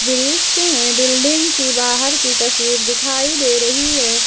दृश्य में बिल्डिंग की बाहर की तस्वीर दिखाई दे रही है।